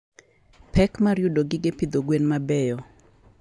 Pek mar yudo gige pidho gwen mabeyo.